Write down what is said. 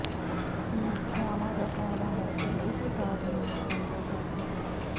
ਸਮੀਖਿਆਵਾਂ ਦਾ ਕਹਿਣਾ ਹੈ ਕਿ ਇਸ ਸਾਧਨ ਦਾ ਫਾਇਦਾ ਕਾਫ਼ੀ ਹੈ